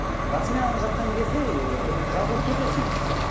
расымен ананы жаққан кезде ы жазылып кетесің